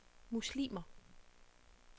muslimer